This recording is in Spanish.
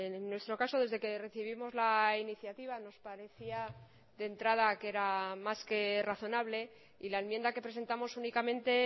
en nuestro caso desde que recibimos la iniciativa nos parecía de entrada que era más que razonable y la enmienda que presentamos únicamente